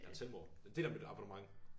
Jeg ahr Telmore det er en del af mit abonnement